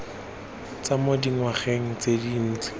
tswa mo dingwageng tse dintsi